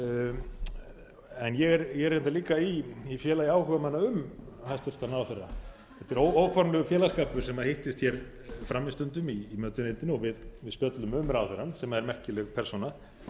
var það ég er reyndar líka í félagi áhugamanna um hæstvirtan ráðherra þetta er óformlegur félagsskapur sem hittist hér frammi stundum í mötuneytinu og við spjöllum um ráðherrann sem er merkileg persóna